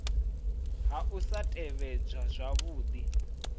ha u sa tevhedzwa zwavhudi